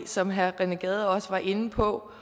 som herre rené gade også var inde på